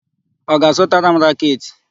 Ọ ga-azụtara m raketị?